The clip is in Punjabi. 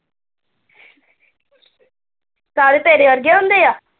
ਸਾਰੇ ਤੇਰੇ ਵਰਗੇ ਹੁੰਦੇ ਆ।